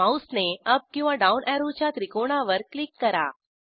माऊसने up किंवा down अॅरोच्या त्रिकोणावर क्लिक करा